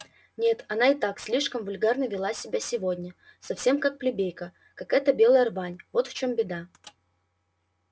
нет она и так слишком вульгарно вела себя сегодня совсем как плебейка как эта белая рвань вот в чём беда